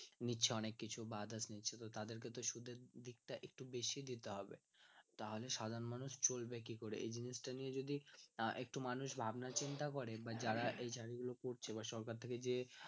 নিচ্ছে অনেক কিছু বা others নিচ্ছে তো তাদের কে তো সুদের দিক টা একটু বেশিই দিতে হবে তাহলে সাধারণ মানুষ চলবে কি করে এই জিনিস টা নিয়ে যদি না একটু মানুষ ভাবনা চিন্তা করে বা যারা এই কাজ গুলো করছে বা সরকার থেকে যে